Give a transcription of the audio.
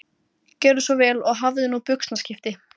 Gjörðu svo vel og hafðu nú buxnaskipti